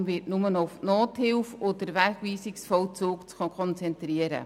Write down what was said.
Die POM wird sich nur noch auf die Nothilfe und den Wegweisungsvollzug konzentrieren.